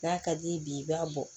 N'a ka d'i ye bi i b'a bɔ